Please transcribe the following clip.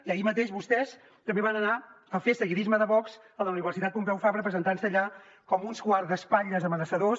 i ahir mateix vostès també van anar a fer seguidisme de vox a la universitat pompeu fabra presentant se allà com uns guardaespatlles amenaçadors